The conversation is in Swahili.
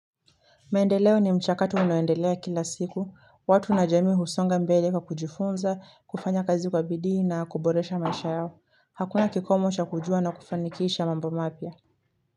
Maendeleo ni mchakatu unaoendelea kila siku. Watu na jamii husonga mbele kwa kujifunza, kufanya kazi kwa bidii na kuboresha maisha yao. Hakuna kikomo cha kujua na kufanikisha mambo mapya.